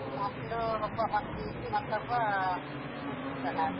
ಮಕ್ಳು ಒಬ್ಬ first PUC ಮತ್ತೊಬ್ಬ ಅಹ್ fifth standard